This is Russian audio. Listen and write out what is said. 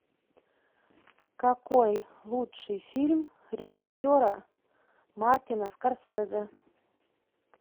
какой лучший фильм режиссера мартина скорсезе